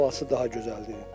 Havası daha gözəldir.